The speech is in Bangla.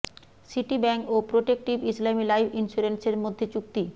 সিটি ব্যাংক ও প্রোটেক্টিভ ইসলামি লাইফ ইন্স্যুরেন্সের মধ্যে চুক্তি